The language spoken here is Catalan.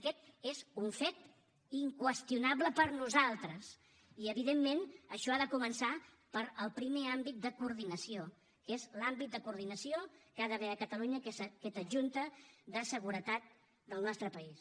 aquest és un fet inqüestionable per a nosaltres i evidentment això ha de començar pel primer àmbit de coordinació que és l’àmbit de coordinació que hi ha d’haver a catalunya que és aquesta junta de seguretat del nostre país